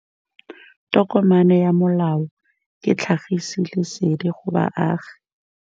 Tokomane ya molao ke tlhagisi lesedi go baagi.